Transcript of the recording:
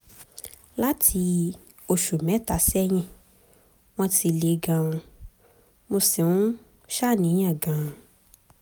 láti oṣù mẹ́ta sẹ́yìn wọ́n ti le gan-an mo sì ń ṣàníyàn gan-an